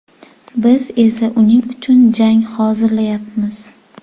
Biz esa uning uchun jang hozirlayapmiz.